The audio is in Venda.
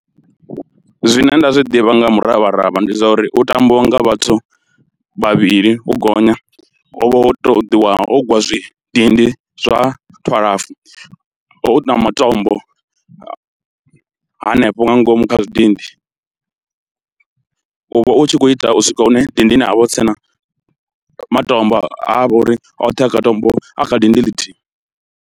Zwine nda zwi ḓivha nga muravharavha ndi zwa uri hu tambiwa nga vhathu vhavhili u gonya, hu vha ho ṱoḓiwa ho ugwiwa zwidindi zwa twalafu hu na matombo hanefho nga ngomu kha zwidindi, u vha u tshi khou ita u swika hune dindini ha vha hu si tshena matombo ha vha uri oṱhe a kha tombo a kha dindi ḽithihi.